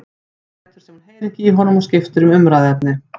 Amma lætur sem hún heyri ekki í honum og skiptir um umræðuefni.